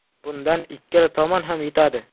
Bundan ikkala tomon ham yutadi.